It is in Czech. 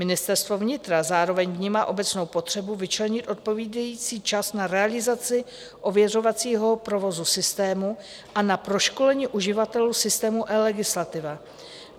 Ministerstvo vnitra zároveň vnímá obecnou potřebu vyčlenit odpovídající čas na realizaci ověřovacího provozu systému a na proškolení uživatelů systému eLegislativa.